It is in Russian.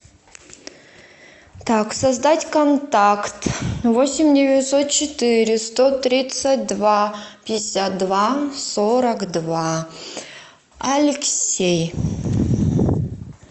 так создать контакт восемь девятьсот четыре сто тридцать два пятьдесят два сорок два алексей